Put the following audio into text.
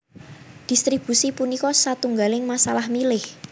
Dhistribusi punika satunggaling masalah milih